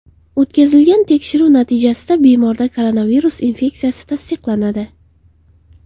O‘tkazilgan tekshiruv natijasida bemorda koronavirus infeksiyasi tasdiqlanadi.